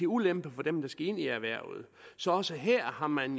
ulempe for dem der skal ind i erhvervet så også her har man